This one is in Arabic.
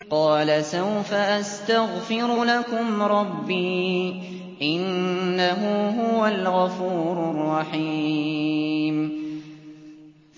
قَالَ سَوْفَ أَسْتَغْفِرُ لَكُمْ رَبِّي ۖ إِنَّهُ هُوَ الْغَفُورُ الرَّحِيمُ